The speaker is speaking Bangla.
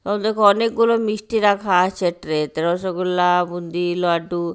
অ দেখো অনেকগুলো মিষ্টি রাখা আছে ট্রে -তে রসগোল্লা বুন্দি লাড্ডু।